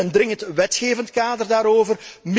Wij willen een dringend wetgevend kader daarover.